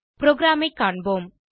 ப்ரோகிராமை காண்போம்